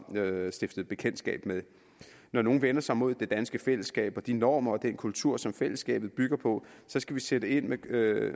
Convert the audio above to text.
stiftet bekendtskab med når nogen vender sig mod det danske fællesskab og de normer og den kultur som fællesskabet bygger på skal vi sætte ind med med